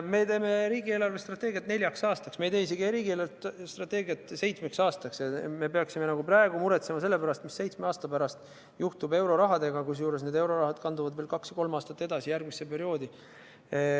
Me teeme riigi eelarvestrateegiat neljaks aastaks, me ei tee seda seitsmeks aastaks, et peaksime praegu muretsema, mis juhtub seitsme aasta pärast eurorahaga, kusjuures see raha kandub veel kaks-kolm aastat edasi, järgmisse perioodi.